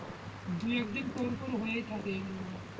দু একদিন পরপর হয়ে থাকে এগুলো,